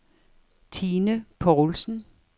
Tine Povlsen